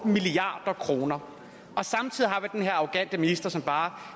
milliard kroner samtidig har vi den her arrogante minister som bare